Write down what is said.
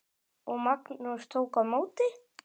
Og Magnús tók á móti?